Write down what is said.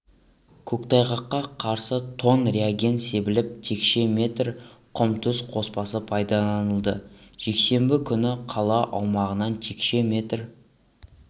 көктайғаққа қарсы тонн реагент себіліп текше метр құм-тұз қоспасы пайдаланылды жексенбі күні қала аумағынан текше метр